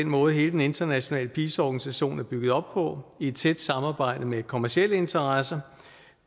måde hele den internationale pisa organisation er bygget op på i et tæt samarbejde med kommercielle interesser